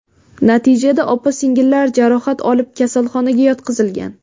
Natijada opa-singillar jarohat olib kasalxonaga yotqizilgan.